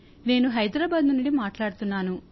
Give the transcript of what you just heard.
నేను హైదరాబాద్ నుండి మాట్లాడుతున్నాను